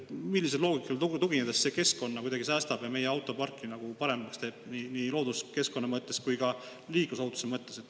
Millisele loogikale tuginedes see keskkonda kuidagi säästab ja meie autoparki paremaks teeb – nii looduskeskkonna mõttes kui ka liiklusohutuse mõttes?